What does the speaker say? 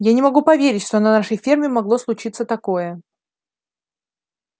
я не могу поверить что на нашей ферме могло случиться такое